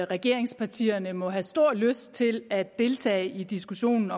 regeringspartierne må have stor lyst til at deltage i diskussionen